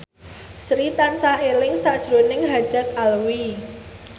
Sri tansah eling sakjroning Haddad Alwi